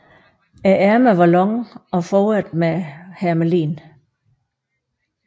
Ærmerne var lange og foret med hermelin